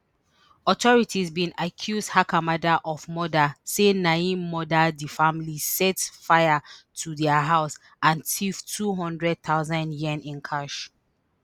authorities bin accuse hakamada of murder say na im murder di family set fire to dia house and tiff two hundred thousand yen in cash